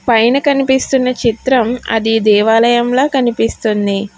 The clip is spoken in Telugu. పైన కనిపిస్తున్న చిత్రం అది దేవాలయంలా కనిపిస్తుంది.